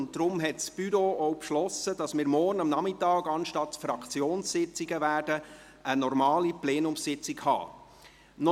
Deshalb hat das Büro denn auch beschlossen, dass wir morgen Nachmittag anstelle der Fraktionssitzungen eine normale Plenumssitzung abhalten werden.